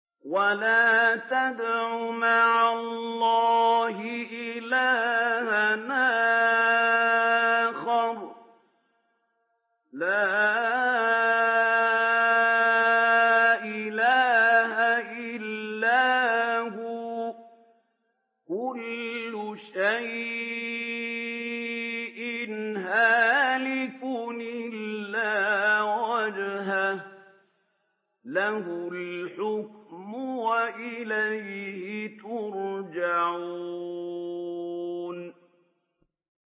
وَلَا تَدْعُ مَعَ اللَّهِ إِلَٰهًا آخَرَ ۘ لَا إِلَٰهَ إِلَّا هُوَ ۚ كُلُّ شَيْءٍ هَالِكٌ إِلَّا وَجْهَهُ ۚ لَهُ الْحُكْمُ وَإِلَيْهِ تُرْجَعُونَ